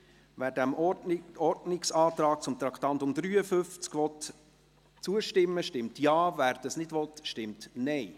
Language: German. Wer dem Ordnungsantrag zu Traktandum 53 zustimmen will, stimmt Ja, wer dies nicht will, stimmt Nein.